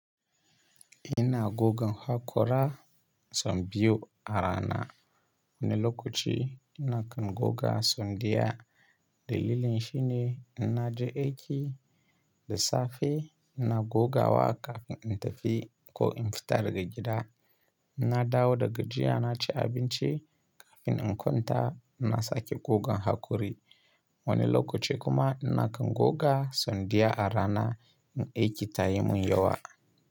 Ina gogan hakora so biyu a rana. Wani lokaci ina kan goga so diya. Dalilin shine ina je aiki da safe ina goga wa kafin in tafi ko in fita daga gida. Ina dawo da gajiya na ci abinci kafin in kwanta ina sake gogan hakori. Wani lokaci kuma ina kan goga so daya a rana in aiki ta yi mun yawa.